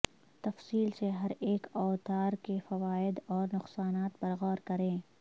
تفصیل سے ہر ایک اوتار کے فوائد اور نقصانات پر غور کریں